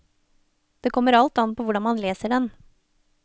Det kommer alt an på hvordan man leser den.